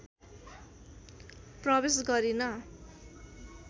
प्रवेश गरिन